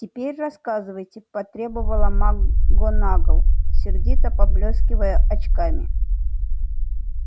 теперь рассказывайте потребовала макгонагалл сердито поблёскивая очками